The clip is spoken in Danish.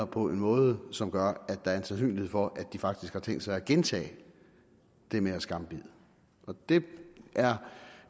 på en måde som gør at der er en sandsynlighed for at de faktisk har tænkt sig at gentage det med at skambide det er